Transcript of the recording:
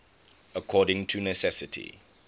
according to necessity